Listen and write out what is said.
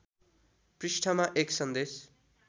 पृष्ठमा एक सन्देश